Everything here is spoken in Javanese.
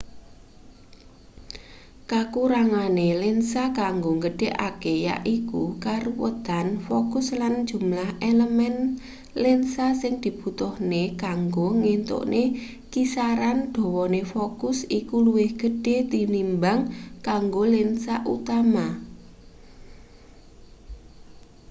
kakurangane lensa kanggo nggedhekake yaiku karuwetan fokus lan jumlah elemen lensa sing dibutuhne kanggo ngentukne kisaran dawane fokus iku luwih gedhe tinimbang kanggo lensa utama